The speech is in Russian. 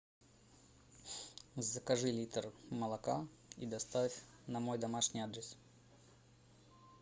закажи литр молока и доставь на мой домашний адрес